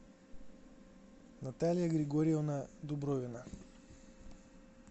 наталья григорьевна дубровина